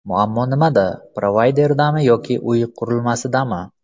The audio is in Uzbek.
Muammo nimada: provayderdami yoki uy qurilmasidami?